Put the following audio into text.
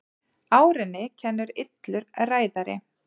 Árinni kennir illur ræðari.